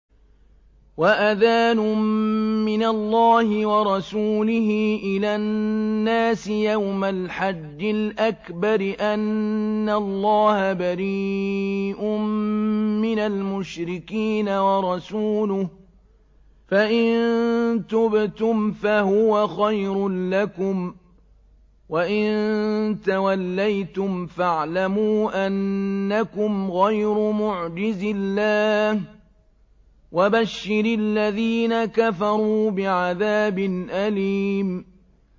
وَأَذَانٌ مِّنَ اللَّهِ وَرَسُولِهِ إِلَى النَّاسِ يَوْمَ الْحَجِّ الْأَكْبَرِ أَنَّ اللَّهَ بَرِيءٌ مِّنَ الْمُشْرِكِينَ ۙ وَرَسُولُهُ ۚ فَإِن تُبْتُمْ فَهُوَ خَيْرٌ لَّكُمْ ۖ وَإِن تَوَلَّيْتُمْ فَاعْلَمُوا أَنَّكُمْ غَيْرُ مُعْجِزِي اللَّهِ ۗ وَبَشِّرِ الَّذِينَ كَفَرُوا بِعَذَابٍ أَلِيمٍ